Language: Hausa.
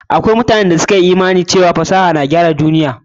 Akwai mutane da ɗan dama da suka yi imani cewa fasaha ce ke gudanar da duniya.